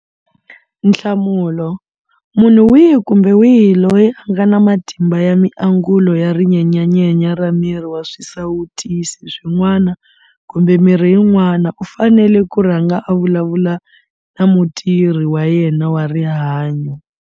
Nhlamulo- Munhu wihi kumbe wihi loyi a nga na matimu ya miangulo ya rinyenyanyenya ra miri ra swisawutisi swin'wana kumbe mirhi yin'wana u fanele ku rhanga a vulavula na mutirhi wa yena wa rihanyo.